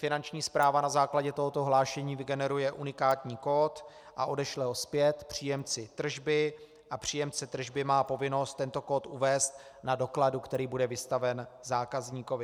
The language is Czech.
Finanční správa na základě tohoto hlášení vygeneruje unikátní kód a odešle ho zpět příjemci tržby a příjemce tržby má povinnost tento kód uvést na dokladu, který bude vystaven zákazníkovi.